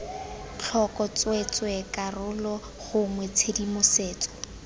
tlhoko tsweetswee karolo gongwe tshedimosetso